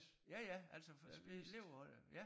Ja ja altså for levede af det ja